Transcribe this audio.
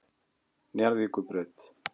Njarðvíkurbraut